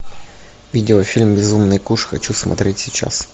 видеофильм безумный куш хочу смотреть сейчас